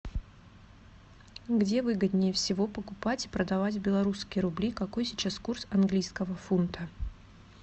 где выгоднее всего покупать и продавать белорусские рубли какой сейчас курс английского фунта